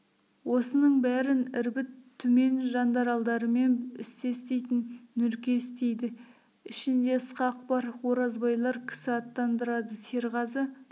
осының бәрін ірбіт түмен жандаралдарымен істес дейтін нұрке істейді ішінде ысқақ бар оразбайлар кісі аттандырады серғазы